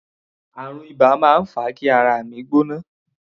Àrùn iba máa ń fa kí ara mi gbóná.